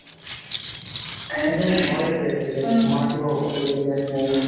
সেইয়েতো মোৰ ভয়ে লাগি আছে like মাক কিবা ঔষধ দিব লাগে।